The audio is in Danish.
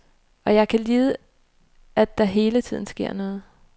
Og jeg kan lide, at der hele tiden sker noget.